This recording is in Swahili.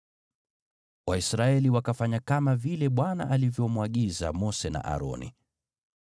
Waisraeli wakafanya kama vile Bwana alivyomwagiza Mose na Aroni.